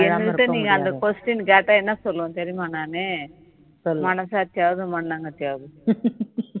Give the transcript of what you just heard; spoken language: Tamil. என் கிடட நீங்க அந்த question கேட்டா என்ன சொல்லுவேன் தெரியுமா நானு மனசாட்சியாவது மண்ணாங்கட்டியாவது